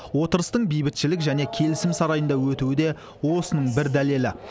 отырыстың бейбітшілік және келісім сарайында өтуі де осының бір дәлелі